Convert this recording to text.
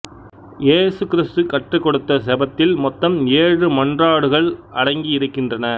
இயேசு கிறிஸ்து கற்றுக்கொடுத்த செபத்தில் மொத்தம் ஏழு மன்றாட்டுகள் அடங்கி இருக்கின்றன